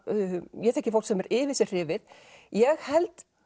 ég þekki fólk sem er yfir sig hrifið ég held